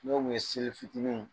No kun ye seli fitinin